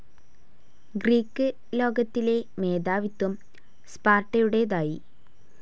Greek ലോകത്തിലെ മേധാവിത്വം സ്പാർട്ടയുടേതായി.